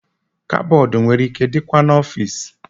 Kabọọdụ nwere ike ị dịkwa n'ọfici.